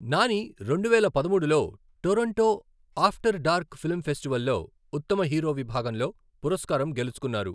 నాని రెండువేల పదమూడులో Toronto after dark film ఫెస్టివల్లో ఉత్తమ హీరో విభాగంలో పురస్కారం గెలుచుకున్నారు.